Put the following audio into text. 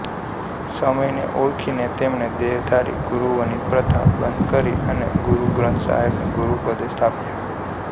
સમયને ઓળખીને તેમણે દેહધારી ગુરુઓની પ્રથા બંધ કરી અને ગુરુ ગ્રંથસાહેબને ગુરુપદે સ્થાપ્યા